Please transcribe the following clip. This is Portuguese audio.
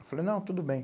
Eu falei, não, tudo bem.